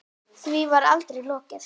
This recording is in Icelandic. Því var aldrei lokið.